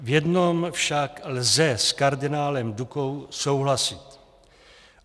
V jednom však lze s kardinálem Dukou souhlasit.